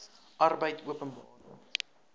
arbeidopenbare